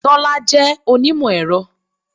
Tọ́lá jẹ́ onímọ̀-ẹ̀rọ.